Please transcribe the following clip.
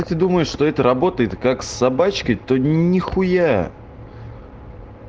ты думаешь что это работает как с собачкой то нехуя